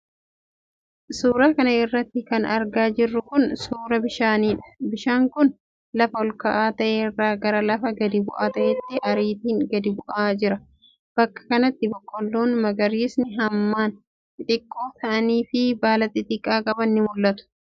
Suura kana irratti kan argaa jirru kun, suura bishaanii dha. Bishaan kun, lafa ol ka'aa ta'e irraa gara lafa gadi bu'aa ta'etti ariitiin gadi bu'aa jira. Bakka kanatti ,biqiloonni magariisni hammaan xixiqqoo ta'anii fi baala xixiqqoo qaban ni mul'atu.